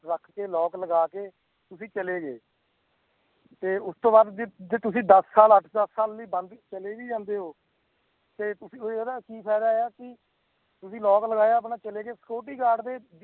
ਰੱਖ ਕੇ lock ਲਗਾ ਕੇ ਤੁਸੀਂ ਚਲੇ ਗਏ ਤੇ ਉਸ ਤੋਂ ਬਾਅਦ ਜੇ ਜੇ ਤੁਸੀਂ ਦਸ ਸਾਲ, ਅੱਠ ਦਸ ਸਾਲ ਲਈ ਬੰਦ ਚਲੇ ਵੀ ਜਾਂਦੇ ਹੋ, ਤੇ ਤੁਸੀਂ ਉਹ ਇਹਦਾ ਕੀ ਫ਼ਾਇਦਾ ਹੈ ਕਿ ਤੁਸੀਂ lock ਲਗਾਇਆ ਆਪਣਾ ਚਲੇ ਗਏ security gurad ਦੇ